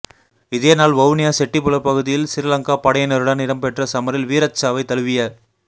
இதே நாள் வவுனியா செட்டிப்புல பகுதியில் சிறிலங்கா படையினருடன் இடம்பெற்ற சமரில் வீரச்சாவைத் தழுவிய